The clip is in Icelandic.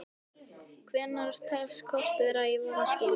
Hvenær telst kort vera í vanskilum?